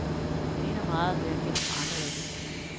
Det ligner meget, hvad jeg kender fra andre lande.